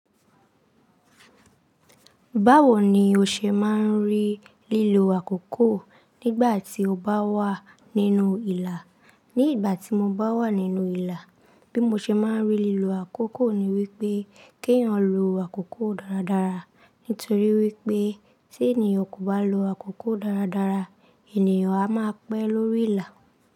Báwo ni o ṣe máa ń rí lílo àkókò nígbà tí o bá wà nínú ìlà? Ní ìgbà tí mo bá wà nínú ìlà, bí mo ṣe máa ń rí lílo àkókò ni wípé kí ẹ̀yin lọ àkókò dáradára, nítorí wípé tí ènìyàn kò bá lo àkókò dáradára, ènìyàn a máa pẹ́ lórí ìlà.